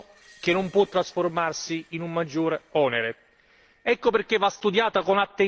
Il diritto alla salute è un diritto che non può trasformarsi in un maggiore onere.